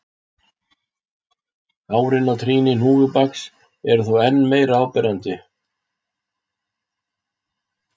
Hárin á trýni hnúfubaka eru þó enn meira áberandi.